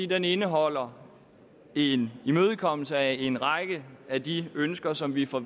den indeholder en imødekommelse af en række af de ønsker som vi fra